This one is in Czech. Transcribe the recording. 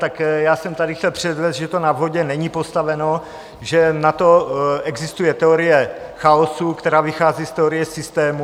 Tak já jsem tady chtěl předvést, že to na vodě není postaveno, že na to existuje teorie chaosu, která vychází z teorie systémů.